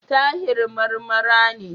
Tahir Marmara ne.